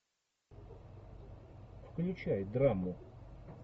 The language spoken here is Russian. включай драму